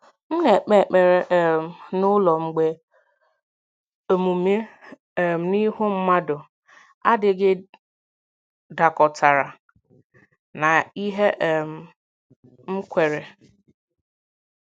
M na-ekpe ekpere um n’ụlọ mgbe omume um n’ihu mmadụ adịghị dakọtara na ihe um m kweere.